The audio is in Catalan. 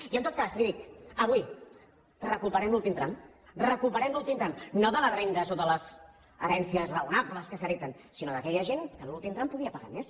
i en tot cas li dic avui recuperem l’últim tram recuperem l’últim tram no de les rendes o de les herències raonables que s’hereten sinó d’aquella gent que en l’últim tram podria pagar més